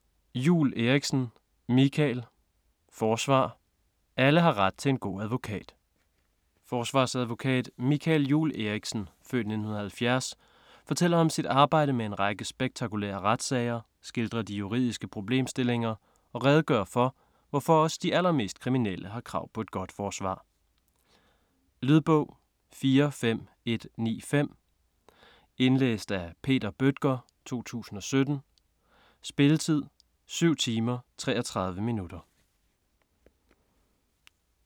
Juul Eriksen, Michael: Forsvar: alle har ret til en god advokat Forsvarsadvokat Michael Juul Eriksen (f. 1970) fortæller om sit arbejde med en række spektakulære retssager, skildrer de juridiske problemstillinger og redegør for, hvorfor også de allermest kriminelle har krav på et godt forsvar. Lydbog 45195 Indlæst af Peter Bøttger, 2017. Spilletid: 7 timer, 33 minutter.